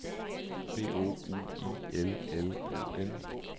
B O U I L L O N